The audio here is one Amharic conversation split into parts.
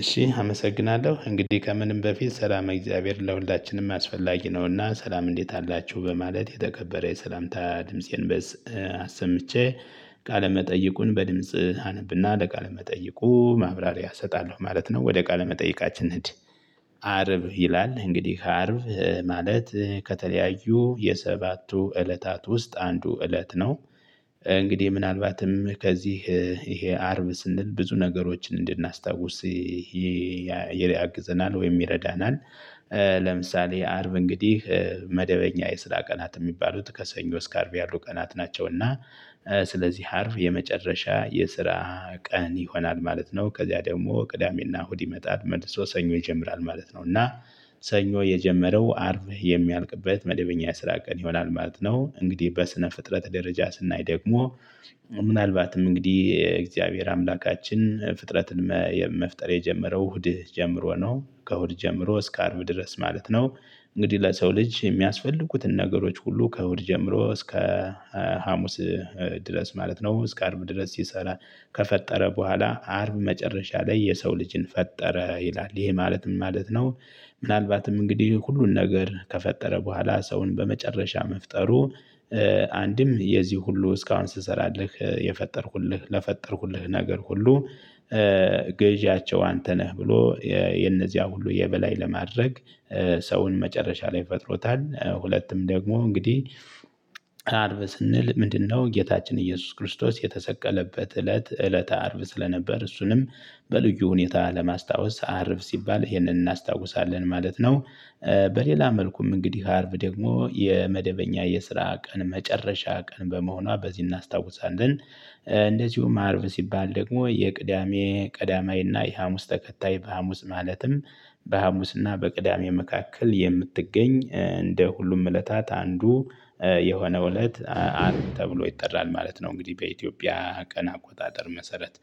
እሺ አመሰግናለሁ እንግዲህ ከምንም በፊት ሰላም እግዚአብሔር ለሁላችንም አስፈላጊ ነውና ሰላም እንዴት አላችሁ በማለት የተከበረ የሰላምታ ድምፄን በዚህ አሰምቼ ቃለ መጠይቁን በድምጽ አነብና ለቃለ መጠይቁ ማብራሪያ እሰጣለሁ ማለት ነው። ወደ ቃለ መጠይቃችን እድ አርብ ይላል እንግዲህ ከአርብ ማለት ከተለያዩ የሰባቱ እለታት ውስጥ አንዱ እለት ነው። እንግዲህ ምናልባትም ከዚህ ይሄ አርብ ስንል ብዙ ነገሮችን እንድናስታውስ ያግዘናል ወይም ይረዳናል። ለምሳሌ አርብ እንግዲህ መደበኛ የስራ ቀናት የሚባሉት ከሰኞ እስከ አርብ ያሉ ቀናት ናቸው እና ስለዚህ አርብ የመጨረሻ የስራ ቀን ይሆናል ማለት ነው። ከዚያ ደግሞ ቅዳሜና እሁድ ይመጣል መልሶ ሰኞ ይጀምራል ማለት ነው። እና ሰኞ የጀመረው አርብ የሚያልቅበት መደበኛ የስራ ቀን ይሆናል ማለት ነው። እንግዲህ በስነ ፍጥረት ደረጃ ስናይ ደግሞ ምናልባትም እንግዲህ እግዚአብሔር አምላካችን ፍጥረትን መፍጠር የጀመረው እሁድ ጀምሮ ነው ከእሁድ ጀምሮ እስከ አርብ ድረስ ማለት ነው። እንግዲህ ለሰው ልጅ የሚያስፈልጉትን ነገሮች ሁሉ ከእሁድ ጀምሮ እስከ ሀሙስ ድረስ ማለት ነው። እስከ አርብ ድረስ ሲሰራ ከፈጠረ በኋላ አርብ መጨረሻ ላይ የሰው ልጅን ፈጠረ ይላል ይሄ ማለት ምን ማለት ነው? ምናልባትም እንግዲህ ሁሉን ነገር ከፈጠረ በኋላ ሰውን በመጨረሻ መፍጠሩ አንድም የዚህ ሁሉ እስካሁን ስሰራለህ የፈጠርኩልህ ለፈጠርኩልህ ነገር ሁሉ ገዢያቸው አንተ ነህ ብሎ የነዚያ ሁሉ የበላይ ለማድረግ ሰውን መጨረሻ ላይ ፈጥሮታል። ሁለቱም ደግሞ እንግዲህ አርብ ስንል ምንድነው? ጌታችን ኢየሱስ ክርስቶስ የተሰቀለበት እለት እለተ አርብ ስለነበር እሱንም በልዩ ሁኔታ ለማስታወስ አርብ ሲባል ይህንን እናስታውሳለን ማለት ነው። በሌላ መልኩም እንግዲህ አርብ ደግሞ የመደበኛ የስራ ቀን መጨረሻ ቀን በመሆኗ በዚህ እናስታውሳለን። እንደዚሁም አርብ ሲባል ደግሞ የቅዳሜ ቀዳማይና የሀሙስ ተከታይ በሀሙስ ማለትም በሐሙስና በቅዳሜ መካከል የምትገኝ እንደ ሁሉም እለታት አንዱ የሆነው እለት አርብ ተብሎ ይጠራል ማለት ነው። እንግዲህ በኢትዮጵያ ቀን አቆጣጠር መሰረት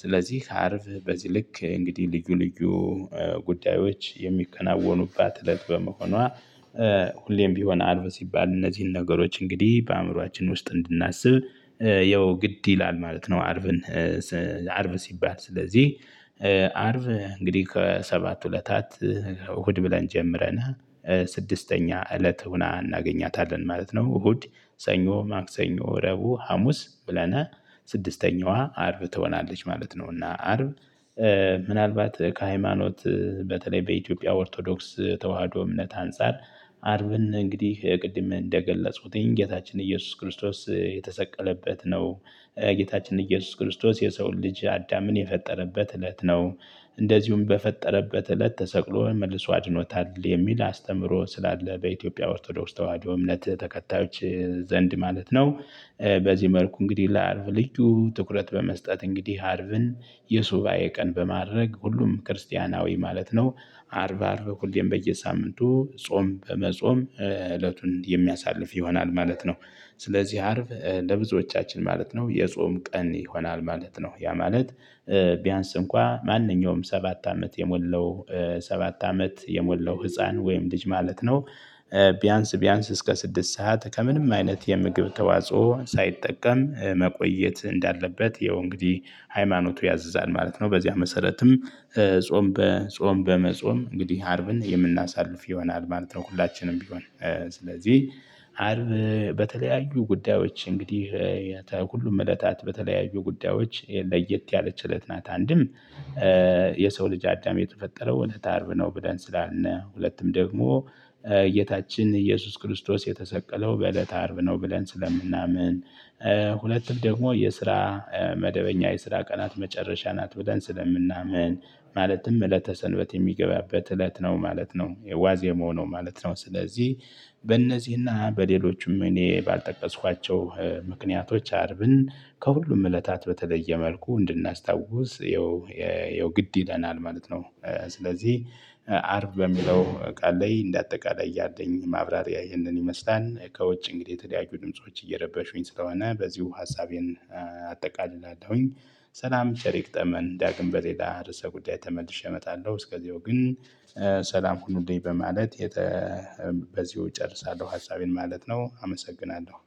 ስለዚህ አርብ በዚህ ልክ እንግዲህ ልዩ ልዩ ጉዳዮች የሚከናወኑባት እለት በመሆኗ። ሁሌም ቢሆን አልብ ሲባል እነዚህን ነገሮች እንግዲህ በአእምሮአችን ውስጥ እንድናስብ ያው ግድ ይላል ማለት ነው። አርብን አርብ ሲባል ስለዚህ አርብ እንግዲህ ከሰባት እለታት እሁድ ብለን ጀምረናል ስድስተኛ እለት ሆና እናገኛታለን ማለት ነው። እሁድ ሰኞ ማክሰኞ ረቡ ሀሙስ ብለን ስድስተኛዋ አርብ ትሆናለች ማለት ነው። እና አርብ ምናልባት ከሃይማኖት በተለይ በኢትዮጵያ ኦርቶዶክስ ተዋህዶ እምነት አንፃር አርብን እንግዲህ ቅድም እንደገለፁት ይሄን ጌታችን ኢየሱስ ክርስቶስ የተሰቀለበት ነው። ጌታችን ኢየሱስ ክርስቶስ የሰውን ልጅ አዳምን የፈጠረበት እለት ነው። እንደዚሁም በፈጠረበት እለት ተሰቅሎ መልሶ አድኖታል የሚል አስተምሮ ስላለ በኢትዮጵያ ኦርቶዶክስ ተዋህዶ እምነት ተከታዮች ዘንድ ማለት ነው። በዚህ መልኩ እንግዲህ ለአርብ ልጁ ትኩረት በመስጠት እንግዲህ አርብን የሱባኤ ቀን በማድረግ ሁሉም ክርስቲያናዊ ማለት ነው። አርብ አርብ ኩሌን በየሳምንቱ ጾም በመጾም እለቱን የሚያሳልፍ ይሆናል ማለት ነው። ስለዚህ አርብ ለብዙዎቻችን ማለት ነው የጾም ቀን ይሆናል ማለት ነው። ያ ማለት ቢያንስ እንኳን ማንኛውም ሰባት አመት የሞለው ሰባት አመት የሞለው ህፃን ወይም ልጅ ማለት ነው። ቢያንስ ቢያንስ እስከ ስድስት ሰዓት ከምንም አይነት የምግብ ተዋጽኦ ሳይጠቀም መቆየት እንዳለበት ያው እንግዲህ ሃይማኖቱ ያዘዛል ማለት ነው። በዚህ መሰረትም ጾም በጾም በመጾም እንግዲህ አርብን የምናሳልፍ ይሆናል ማለት ነው። ሁላችንም ቢሆን ስለዚህ አርብ በተለያዩ ጉዳዮች እንግዲህ ሁሉም እለታት በተለያዩ ጉዳዮች ለየት ያለች እለት ናት። አንድም የሰው ልጅ አዳም የተፈጠረው እለተ አርብ ነው። ብለን ስላልነ ሁለቱም ደግሞ ጌታችን ኢየሱስ ክርስቶስ የተሰቀለው በእለተ አርብ ነው። ብለን ስለምናምን ሁለቱም ደግሞ የስራ መደበኛ የስራ ቀናት መጨረሻ ናት ብለን ስለምናምን ማለትም እለተ ሰንበት የሚገባበት እለት ነው ማለት ነው። የዋዜማው ነው ማለት ነው። ስለዚህ በእነዚህና በሌሎችም እኔ ባልጠቀስኳቸው ምክንያቶች አርብን ከሁሉም እለታት በተለየ መልኩ እንድናስታውስ ይኸው ይኸው ግድ ይለናል ማለት ነው። ስለዚህ አርብ በሚለው ቃል ላይ እንደ አጠቃላይ እያለኝ ማብራሪያ ይህንን ይመስላል። ከውጭ እንግዲህ የተለያዩ ድምጾች እየረበሹኝ ስለሆነ በዚሁ ሀሳቤን አጠቃልላለሁኝ። ሰላም ቸር ይግጠመን ዳግም በሌላ ርዕሰ ጉዳይ ተመልሼ እመጣለሁ። እስከዚሁ ግን ሰላም ሁሉንም በማለት በዚሁ እጨርሳለሁ ሀሳቤን ማለት ነው። አመሰግናለሁ